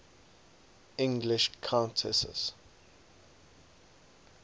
english countesses